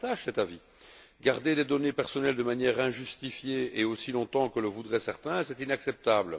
Je partage cet avis garder des données personnelles de manière injustifiée et aussi longtemps que le voudraient certains, c'est inacceptable.